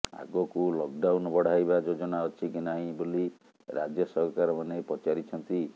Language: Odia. ଆଗକୁ ଲକ୍ଡାଉନ୍ ବଢାଇବା ଯୋଜନା ଅଛି କି ନାହିଁ ବୋଲି ରାଜ୍ୟ ସରକାର ମାନେ ପଚାରିଛନ୍ତି